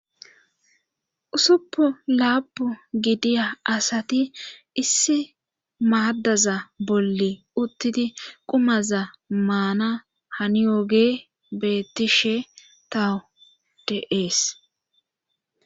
Ussuppu laapu gidiya asati issi maaddaza bolla uttidi qumaza maana haniyoogey bettishe tawo de'ees